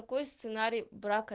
какой сценарий брака